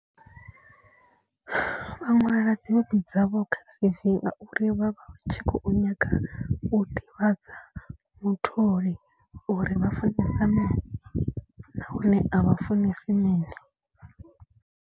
Vha ṅwala dzi hobi dzavho kha C_V ngauri vha vha tshi khou nyaga u ḓivhadza mutholi. Uri vha funesa mini na hone a vha funesa mini.